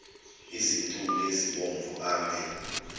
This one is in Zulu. izintuli ezibomvu ame